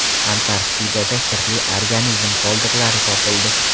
Antarktidada sirli organizm qoldiqlari topildi.